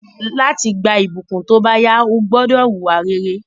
Láti gba ìbùkún tóbáyá, o gbúdọ̀ wùwà rere